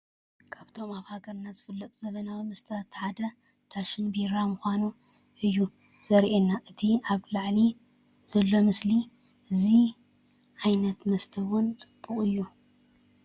ካብቶም ኣብ ሃገርና ዝፍለጡ ዘመናዊ መስተታት እቲ ሓደ ዳሽን ቢራ ምኻኑ እዩ ዘርኤና እቲ ኣብላዓሊ ዘሎ ምስሊ። እዚ ዓይነት መስተ እውን ፅቡቅ እዩ።